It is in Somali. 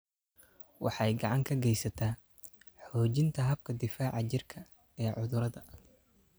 Waxay gacan ka geysataa xoojinta habka difaaca jirka ee cudurrada.